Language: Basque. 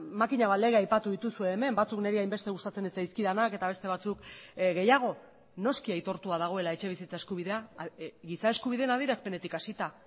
makina bat lege aipatu dituzue hemen batzuk niri hainbeste gustatzen ez zaizkidanak eta beste batzuk gehiago noski aitortua dagoela etxebizitza eskubidea giza eskubideen adierazpenetik hasita